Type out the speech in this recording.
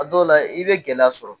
A dɔw la i bɛ gɛlɛya sɔrɔ.